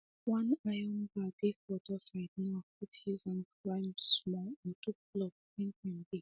one iron bar dey for door side now fit use am climb small or do pullup when time dey